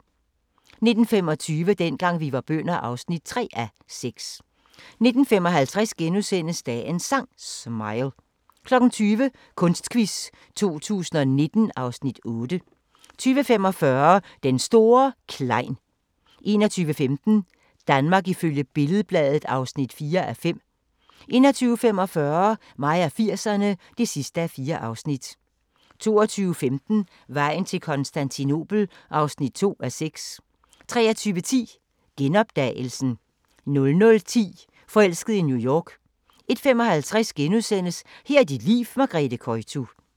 19:25: Dengang vi var bønder (3:6) 19:55: Dagens Sang: Smile * 20:00: Kunstquiz 2019 (Afs. 8) 20:45: Den store Klein 21:15: Danmark ifølge Billed-Bladet (4:5) 21:45: Mig og 80'erne (4:4) 22:15: Vejen til Konstantinopel (2:6) 23:10: Genopdagelsen 00:10: Forelsket i New York 01:55: Her er dit liv – Margrethe Koytu *